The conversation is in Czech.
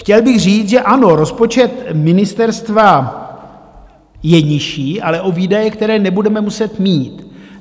Chtěl bych říct, že ano, rozpočet ministerstva je nižší, ale o výdaje, které nebudeme muset mít.